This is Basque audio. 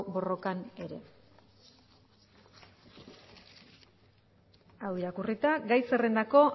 borrokan ere hau irakurrita gai zerrendako